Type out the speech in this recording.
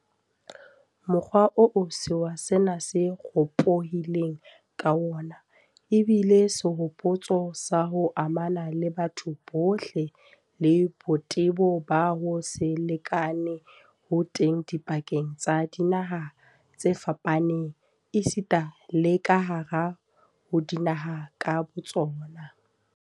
Mokgwa oo sewa sena se ropohileng ka wona ebile sehopotso sa ho amana ha batho bohle, le botebo ba ho se lekane ho teng dipakeng tsa dinaha tse fapaneng esita le kahare ho dinaha ka botsona.